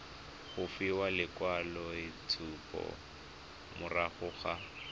go fiwa lekwaloitshupo morago ga